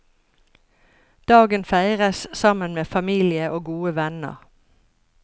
Dagen feires sammen med familie og gode venner.